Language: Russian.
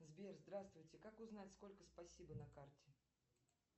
сбер здравствуйте как узнать сколько спасибо на карте